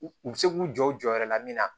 U u bɛ se k'u jɔ u jɔyɔrɔ la min na